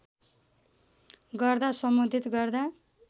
गर्दा सम्बोधित गर्दा